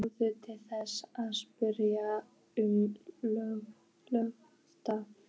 Sjáðu til, þetta er spurning um höggstað.